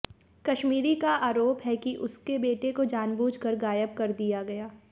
कशमीरी का आरोप है कि उसके बेटे को जानबूझ कर गायब कर दिया गया